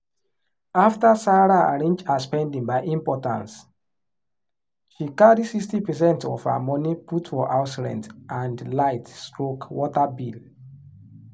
after sarah arrange her spending by importance she carry 60%of her money put for house rent and light/water bill.